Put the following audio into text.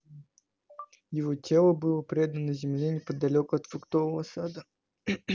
его тело было предано земле неподалёку от фруктового сада